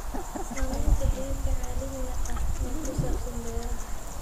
Saamaynta xidhiidhka caalamiga ah ee ku saabsan beeraha.